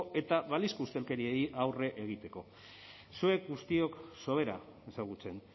eta balizko ustelkeriari aurre egiteko zuek guztiok sobera ezagutzen